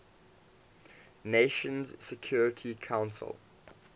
nations security council